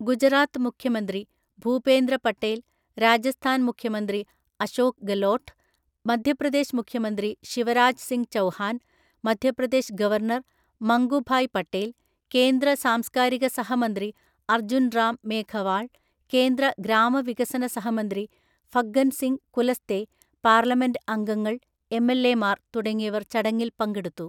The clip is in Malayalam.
ഗുജറാത്ത് മുഖ്യമന്ത്രി ഭൂപേന്ദ്ര പട്ടേൽ, രാജസ്ഥാൻ മുഖ്യമന്ത്രി അശോക് ഗെലോട്ട്, മധ്യപ്രദേശ് മുഖ്യമന്ത്രി ശിവരാജ് സിങ് ചൗഹാൻ, മധ്യപ്രദേശ് ഗവർണർ മംഗുഭായ് പട്ടേൽ, കേന്ദ്ര സാംസ്കാരികസഹമന്ത്രി അർജുൻ റാം മേഘവാൾ, കേന്ദ്ര ഗ്രാമവികസനസഹമന്ത്രി ഫഗ്ഗൻ സിങ് കുലസ്തെ, പാർലമെന്റ് അംഗങ്ങൾ, എംഎൽഎമാർ തുടങ്ങിയവർ ചടങ്ങിൽ പങ്കെടുത്തു.